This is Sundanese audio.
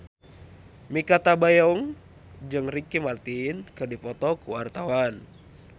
Mikha Tambayong jeung Ricky Martin keur dipoto ku wartawan